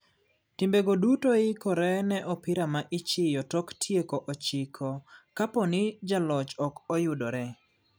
Timbe go duto ikore ne opira ma ichiyo tok tieko ochiko kaponi jaloch ok oyudore .